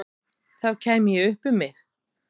Þá kæmi ég upp um mig.